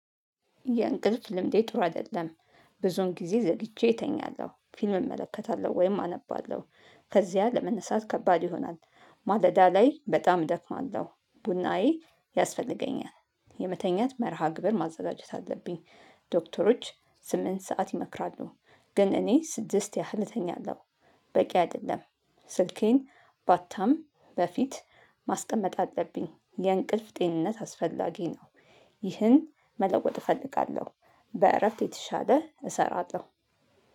የእንቅልፍ ልምዴ ጥሩ አደለም። ብዙዉን ጊዜ ዘግይቼ እተኛለሁ ፊልም እመለከታለሁ ወይም አነባለሁ ከዚያ ለመነሳት ከባድ ይሆናል። ማለዳ ላይ በጣም እደክማለሁ ቡናዬ ያስፈልገኛል የመተኛት መርሃ ግብር ማዘጋጀት አለብኝ። ዶክተሮች ስምንት ሰዓት ይመክራሉ። ግን እኔ ስድስት ያህል እተኛለሁ። በቂ አይደለም። ስልኬን ባታም በፊት ማስቀመጥ አለብኝ የእንቅልፍ ጤንነት አስፈላጊ ነው። ይህን መለወጥ እፈልጋለሁ። በእረፍት የተሻለ እሰራለሁ።